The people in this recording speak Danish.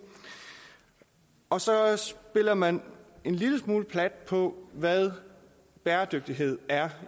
og så spiller man en lille smule plat på hvad bæredygtighed er